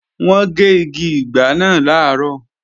Wọ́n gé igi ìgbá náà làárọ̀